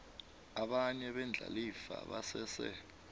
abanye beendlalifa basese